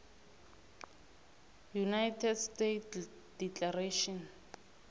united states declaration